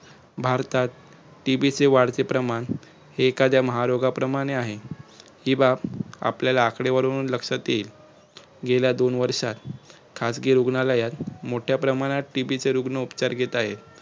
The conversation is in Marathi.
भारतात TB चे वाढते प्रमाण हे एखाद्या महारोगाप्रमाणे आहे. हि बाब आपल्याला आकडे वर वरून लक्षात येईल गेल्या दोन वर्ष्यात खाजगी रुग्णालयात मोठया प्रमाणात TB चे रुग्ण उपचार घेत आहेत,